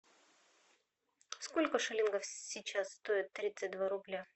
сколько шиллингов сейчас стоят тридцать два рубля